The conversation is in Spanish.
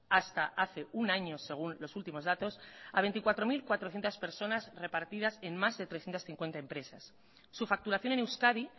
hasta hace un año según los últimos datos a veinticuatro mil cuatrocientos personas repartidas en más de trescientos cincuenta empresas su facturación en euskadi